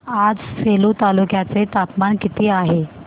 आज सेलू तालुक्या चे तापमान किती आहे